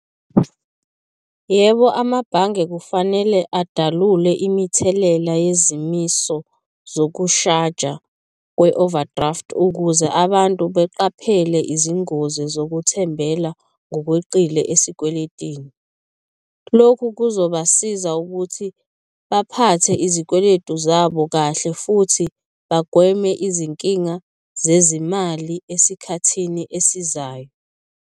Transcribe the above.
Yebo, amabhange kufanele adalule imithelela yezimiso zokushaja kwe-overdraft ukuze abantu beqaphele izingozi zokuthembela ngokweqile esikweletini, lokhu kuzobasiza ukuthi baphathe izikweletu zabo kahle futhi bagweme izinkinga zezimali esikhathini esizayo.